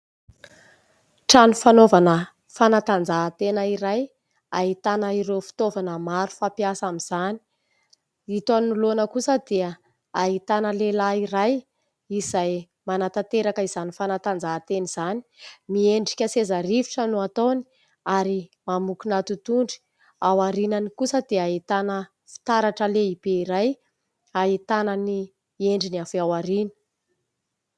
Trano fanaovana fanatanjaha-tena iray ahitana ireo fitaovana maro fampiasa amin'izany. Ito anoloana kosa dia ahitana lehilahy iray izay manatanteraka izany fanatanjaha-tena izany. Miendrika seza rivotra no ataony ary mamokona totohondry. Ao aorianany kosa dia hahitana fitaratra lehibe iray hahitana ny endriny avy ao aoriana.